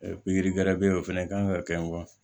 pikiri bɛ o fɛnɛ kan ka kɛ